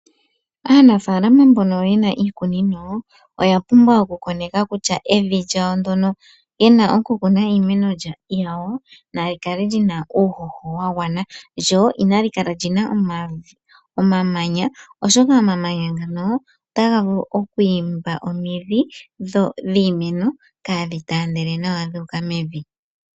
Aanafaalama mbono yena iikunino oya pumbwa oku okoneka kutya evi lyawo ndona yena okukuna iimeno yawo, olina uuhoho wa gwana lyo inali kala lina omamanya oshoka omamanya otaga vulu oku imba omandhi kaadhi taandele nawa dhu uka mevi